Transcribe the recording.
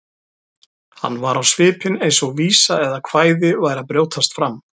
Hann var á svipinn eins og vísa eða kvæði væri að brjótast fram.